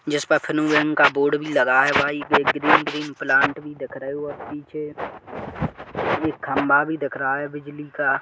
जिस पर खनु वैन का बोर्ड भी लगा है एक ग्रीन-ग्रीन प्लांट भी दिख रहे है पीछे एक खम्भा भी दिख रहा है बिजली का।